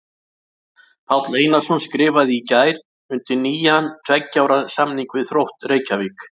Páll Einarsson skrifaði í gær undir nýjan tveggja ára samning við Þrótt Reykjavík.